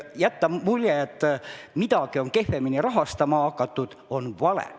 Jätta mulje, et midagi on kehvemini rahastama hakatud, on vale.